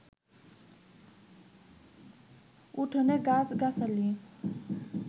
উঠোনে গাছগাছালি